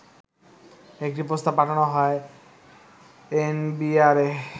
একটি প্রস্তাব পাঠানো হয় এনবিআরে